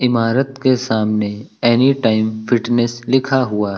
इमारत के सामने एनीटाइम फिटनेस लिखा हुआ है।